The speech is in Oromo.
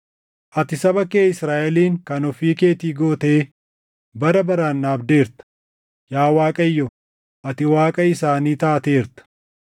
Ati saba kee Israaʼelin kan ofii keetii gootee bara baraan dhaabdeerta; yaa Waaqayyo ati Waaqa isaanii taateerta.